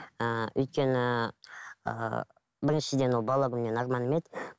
ыыы өйткені ыыы біріншіден ол бала күнгі арманым еді